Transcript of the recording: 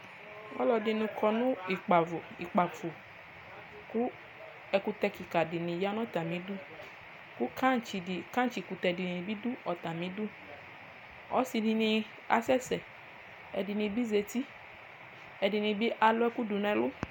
Ɔlɔdini kɔ nu kpafo ku ɛkutɛ kika dini ya nu atamiɛtu ku kɛtsi kutɛ tabi du ɛfɛ ɔsidini kasɛsɛ ɛdini bi zati ɛdini bi aluɛku du nɛlu